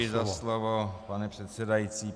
Děkuji za slovo, pane předsedající.